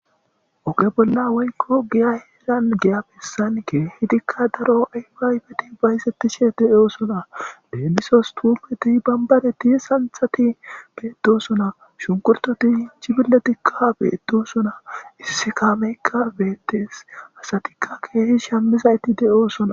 oge bolla woykko giya heeran giya pissanke hitikka daro aywaaybeti baysettishe de7o sona beemmisos tuumeti bambaneti santhati beedosona shunkurtoti hinchibille tikka beedo sona issi kaameykka beettees hasatikka keehi shammizaytti de7oosona